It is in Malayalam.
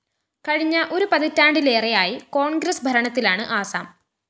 കഴിഞ്ഞ ഒരു പതിറ്റാണ്ടിലേറെയായി കോണ്‍ഗ്രസ് ഭരണത്തിലാണ് ആസാം